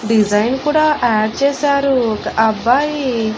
Design కూడా add చేసారు ఒక అబ్బాయి.